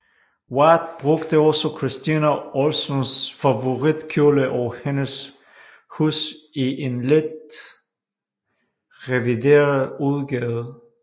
Wyeth brugte også Christina Olsons favoritkjole og hendes hus i en let revideret udgave